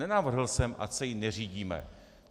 Nenavrhl jsem, ať se jí neřídíme.